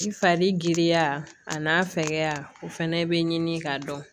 I fari giriya a n'a fɛgɛya o fɛnɛ bɛ ɲini ka dɔn